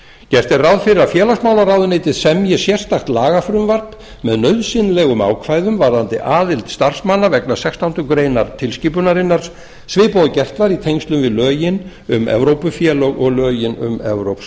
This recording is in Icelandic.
gert er ráð fyrir að félagsmálaráðuneytið semji sérstakt lagafrumvarp með nauðsynlegum ákvæðum varðandi aðild starfsmanna vegna sextándu grein tilskipunarinnar svipað og gert var í tengslum við lögin um evrópufélög og lögin um evrópsk